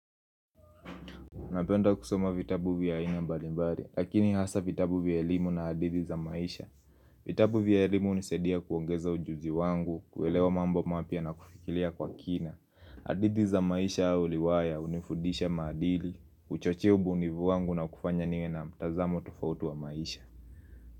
Napenda kusoma vitabu vya aina mbalimbali, lakini hasa vitabu vya elimu na hadithi za maisha. Vitabu vya elimu hunisaidia kuongeza ujuzi wangu, kuelewa mambo mapya na kufikiria kwa kina. Hadithi za maisha au riwaya, unifudisha madili, uchoche ubuunivu wangu na kufanya nime na mtazamo tofauti wa maisha.